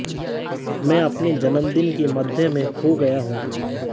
मैं अपने जन्मदिन के मध्य में खो गया हूँ